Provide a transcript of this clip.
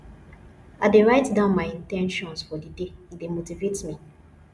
i dey write down my in ten tions for the day e dey motivate me